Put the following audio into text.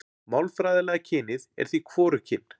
Málfræðilega kynið er því hvorugkyn.